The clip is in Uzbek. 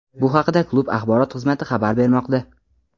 Bu haqda klub Axborot xizmati xabar bermoqda.